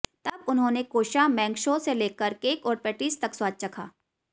तब उन्होंने कोशा मैंगशो से लेकर केक और पैटीज़ तक स्वाद चखा